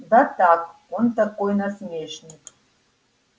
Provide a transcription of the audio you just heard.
да так он такой насмешник